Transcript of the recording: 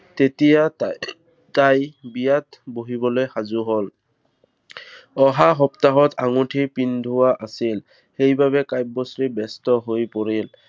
তেতিয়া তাই, তাই বিয়াত বহিবলৈ সাজু হল। অহা সপ্তাহত আঙুঠি পিন্ধোৱা আছিল। সেইবাবে কাব্যশ্ৰী ব্য়স্ত হৈ পৰিল।